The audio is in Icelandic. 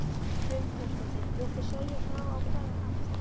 Hrund Þórsdóttir: Viltu segja frá á hvaða hátt?